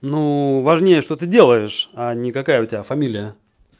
ну важнее что ты делаешь а ни какая у тебя фамилия